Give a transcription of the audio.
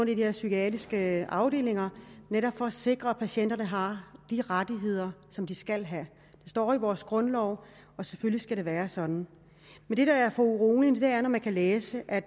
de der psykiatriske afdelinger netop for at sikre at patienterne har de rettigheder som de skal have det står i vores grundlov og selvfølgelig skal det være sådan men det der er foruroligende er når man kan læse at